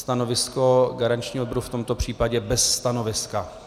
Stanovisko garančního výboru v tomto případě bez stanoviska.